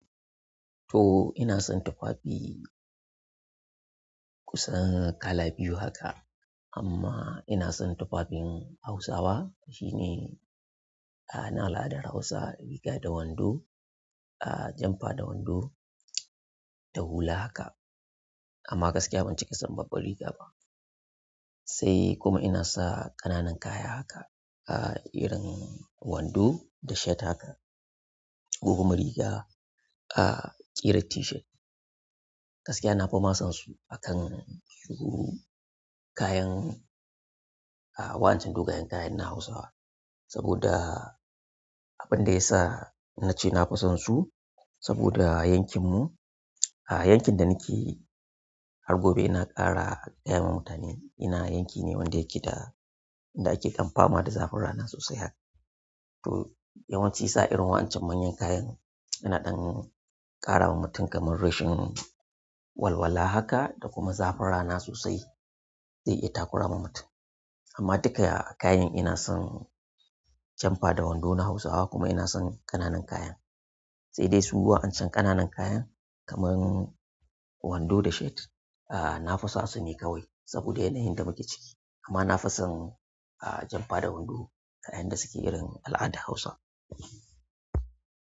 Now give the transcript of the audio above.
To ina son tufafi kusan kala biyu haka. Amma ina son tufafin Hausawa shine, a na al'adar Hausa riga da wando, a janfa da wando da hula haka. Amma gaskiya ban ci kasan babban riga ba, sai kuma ina sa ƙananan kaya haka a irin wando da shirt haka, ko kuma riga a ƙira t-shirt. Gaskiya na fima sansu akan shuru kayan a wa'ancan dogayen kayan na Hausawa, saboda abin da ya sa na ce na fi sonsu saboda yankin mu, a yankin da nake har gobe yana ƙara yawan mutane. Ina yanki ne wanda yake da inda ake kam fama da zafin rana sosai haka. To yawanci sa irin wa'ancin manyan kayan yana ɗan ƙara wa mutum kamar rashin walwala haka da kuma zafin rana sosai zai iya takura ma mutum. Amma duka kayan ina son janfa da wando na Hausawa kuma ina son ƙananan kayan. Sai dai su wa'ancin ƙananan kayan kamar wando da shirt, a na fi sa su ka wai saboda yana yin da muke ciki. Amma na fi son a janfa da wando a yan da suke irin al'adar Hausa.